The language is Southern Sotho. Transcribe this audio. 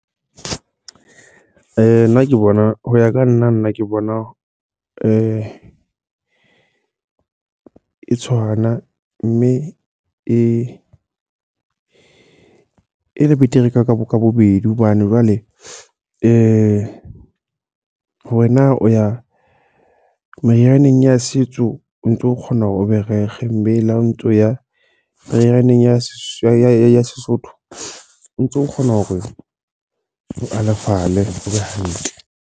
Nna ke bona. Ho ya ka nna, nna ke bona e tshwana. Mme e e le betere ka ka bo ka bobedi. Hobane jwale ho wena o ya merianeng ya setso, o ntso kgona hore o be rekge. La o ntso ya merianeng ya setso ya Sesotho. O ntso kgona hore o alafale o be hantle.